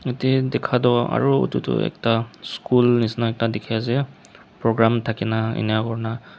tent dikha toh aro utu tu ekta school nisina ekta dikhi ase program thakina enya kurina.